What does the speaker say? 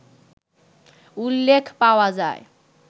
উল্লেখ পাওয়া যায়